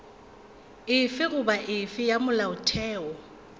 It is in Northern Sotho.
efe goba efe ya molaotheo